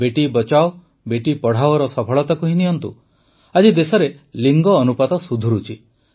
ବେଟୀ ବଚାଓ ବେଟୀ ପଢ଼ାଓର ସଫଳତାକୁ ହିଁ ନିଅନ୍ତୁ ଆଜି ଦେଶରେ ଲିଙ୍ଗ ଅନୁପାତ ସୁଧୁରିଛି